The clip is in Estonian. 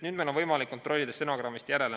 Nüüd on meil võimalik kontrollida stenogrammist järele.